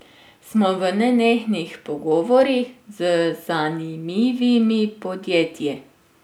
Smo v nenehnih pogovorih z zanimivimi podjetji.